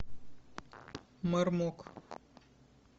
мармок